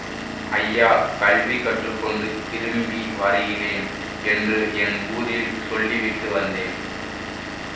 ஐயா கல்வி கற்று கொண்டு திரும்பி வருகிறேன் என்று என் ஊரில் சொல்லிவிட்டு வந்தேன்